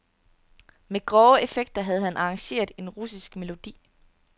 Med grove effekter havde han arrangeret en russisk melodi.